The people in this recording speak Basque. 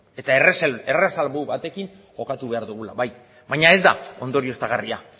eta erresalbu batekin jokatu behar dugula bai baina ez da ondorioztagarria